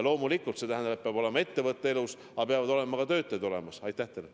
Loomulikult see tähendab, et ettevõte peab elus olema, aga peavad ka töötajad olemas olema.